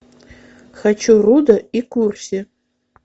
хочу рудо и курси